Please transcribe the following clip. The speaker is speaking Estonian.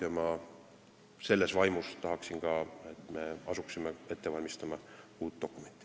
Ma tahaksin, et me selles vaimus asuksime ette valmistama ka uut dokumenti.